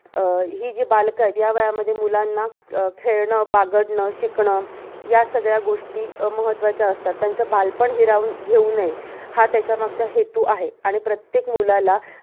ही जी बालक आहेत. या वयामध्ये मुलांना खेळणं, बागडणं, शिकणं या सगळ्या गोष्टी महत्वाच्या असतात. त्याचं बालपण हिरावून घेऊ नये हा त्याच्यामागचा हेतू आहे. आणि प्रत्येक मुलाला,